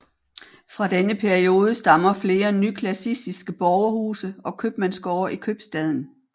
Fra denne periode stammer flere nyklassicistiske borgerhuse og købmandsgårde i købstaden